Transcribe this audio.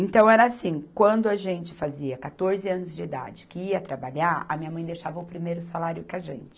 Então era assim, quando a gente fazia quatorze anos de idade que ia trabalhar, a minha mãe deixava o primeiro salário com a gente.